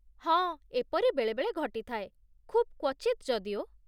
ହଁ, ଏପରି ବେଳେବେଳେ ଘଟିଥାଏ, ଖୁବ୍ କ୍ୱଚିତ୍ ଯଦିଓ ।